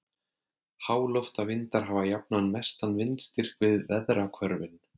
háloftavindar hafa jafnan mestan vindstyrk við veðrahvörfin